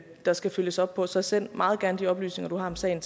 der skal følges op på så send meget gerne de oplysninger du har om sagen